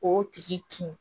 O tigi kin